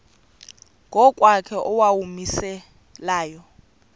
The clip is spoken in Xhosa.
ngokwakhe owawumise layo